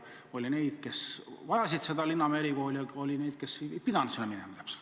Oli neid, kes vajasid Linnamäe erikooli, aga oli ka neid, kes ei pidanud sinna minema.